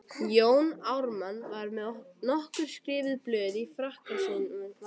Jón Ármann var með nokkur skrifuð blöð í frakkavasanum.